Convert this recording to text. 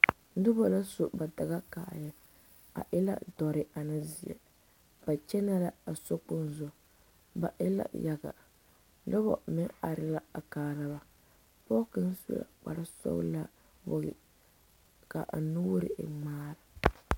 Noba ka su ba daga kaayɛ a e ka dɔre ane zeɛ ba kyɛnɛ la.a sokpoŋ zu ba e la yaga noba meŋ are la a kaara ba pɔge kaŋ su la kpar sɔgelaa ka nuure e ŋmaara